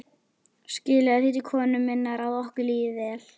Skilaðu því til konu minnar að okkur líði vel.